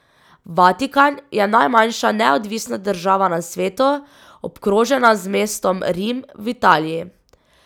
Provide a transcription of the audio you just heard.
Vatikan je najmanjša neodvisna država na svetu, obkrožena z mestom Rim v Italiji.